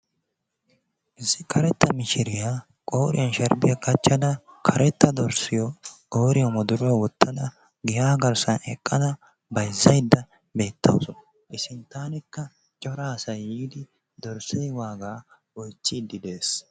Issi karetta mishiriya qooriyan sharbbiya qachchada, karetta dorssiyo qooriyan wodoruwa wottada giyaa garssan eqqada bayzzaydda beettawusu. I sinttaanikka cora asay yiidi dorssee waagaa oychchiiddi de'ees.